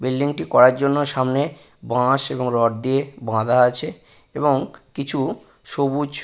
building টি করার জন্য সামনে বাঁশ এবং রড দিয়ে বাঁধা আছে এবং কিছু সবুজ--